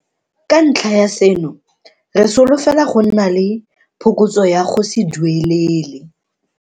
Ka ntlha ya seno, re solofela go nna le phokotso ya go se duelele.